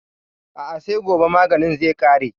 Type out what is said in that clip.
A'a sai gobe maganin zai ƙare.